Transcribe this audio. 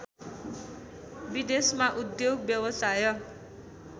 विदेशमा उद्योग व्यवसाय